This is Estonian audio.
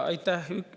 Aitäh!